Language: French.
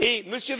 la table